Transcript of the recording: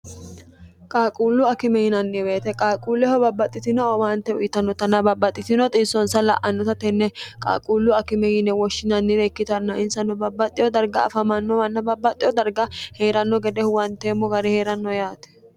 qaaquullu akime yinanni woyite qaaquulleho babbaxxitino owaante uyitannotana babbaxxitino xiissonsa la'annota tenne qaalquullu akime yine woshshinannire ikkitanno insanno babbaxxiho darga afamanno manna babbaxxeho darga hee'ranno gede huwanteemmo gare hee'ranno yaate